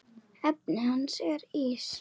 Efnið hans er ís.